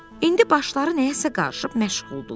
İndi başları nəyəsə qarışıb, məşğuldurlar.